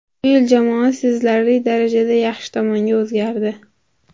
Bu yil jamoa sezilarli darajada yaxshi tomonga o‘zgardi.